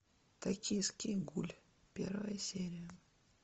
токийский гуль первая серия